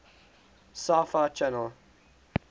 sci fi channel